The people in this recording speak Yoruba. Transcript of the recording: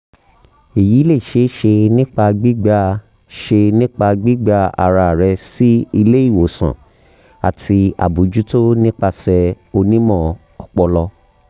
eyi le ṣee ṣe nipa gbigba ṣe nipa gbigba ara rẹ si ile iwosan ati abojuto nipasẹ onimọ-ọpọlọ